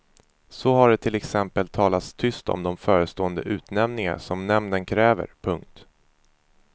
Så har det till exempel talats tyst om de förestående utnämningar som nämnden kräver. punkt